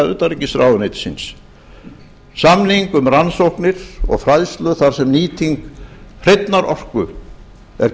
utanríkisráðuneytisins samning um rannsóknir og fræðslu þar sem nýting hreinnar orku er